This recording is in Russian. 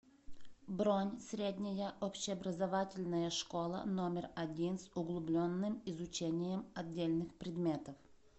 бронь средняя общеобразовательная школа номер один с углубленным изучением отдельных предметов